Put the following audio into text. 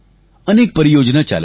અનેક પરિયોજના ચાલે છે